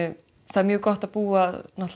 er mjög gott að búa að